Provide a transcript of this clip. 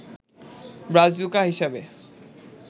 Brazuca হিসেবে